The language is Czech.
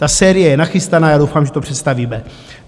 Ta série je nachystaná a doufám, že to představíme.